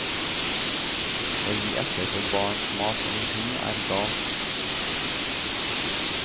Å gi etter for barns mas om hund, er galt.